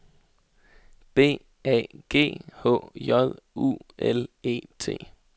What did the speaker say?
B A G H J U L E T